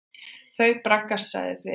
Þau braggast sagði Friðrik.